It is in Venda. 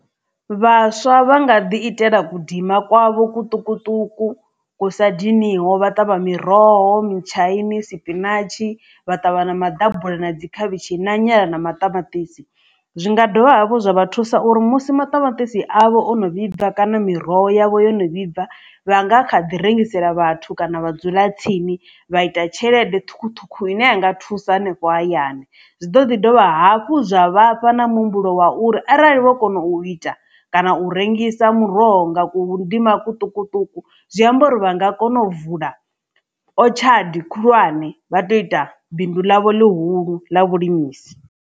Vhaswa vha nga ḓi itela kudima kwavho kuṱukuṱuku kusa diniho vha ṱavha miroho, mutshaini, sipinatshi vha ṱavha na maḓabula na dzi khavhishi na nyala na maṱamaṱisi, zwi nga dovha hafhu zwa vha thusa uri musi maṱamaṱisi avho o no vhibva kana miroho yavho yono vhibva vha nga kha ḓi rengisela vhathu kana vhadzulatsini vha ita tshelede ṱhukhuṱhukhu ine ya nga thusa hanefho hayani. Zwi ḓo ḓi dovha hafhu zwa vhafha na muhumbulo wa uri arali vho kona u ita kana u rengisa muroho nga kudima kuṱukuṱuku zwi amba uri vha nga kona u vula o tshadi khulwane vha to ita bindu ḽavho ḽihulu ḽa vhulimisi.